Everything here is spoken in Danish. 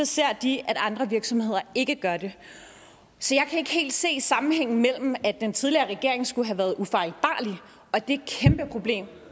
ser de at andre virksomheder ikke gør det så jeg kan ikke helt se sammenhængen mellem at den tidligere regering skulle have været ufejlbarlig og det kæmpeproblem